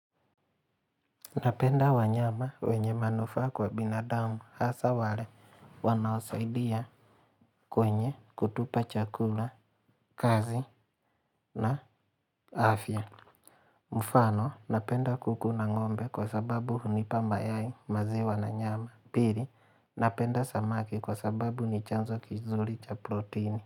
Napenda wanyama wenye manufaa kwa binadamu hasa wale wanaosaidia kwenye kutupa chakula, kazi na afya. Mfano, napenda kukuna ngombe kwa sababu hunipa maziwa na nyama. Pili, napenda samaki kwa sababu ni chanzo kizuri cha proteini.